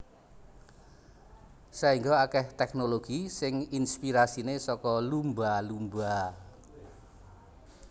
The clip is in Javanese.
Saéngga akèh tèknologi sing inspirasiné saka lumba lumba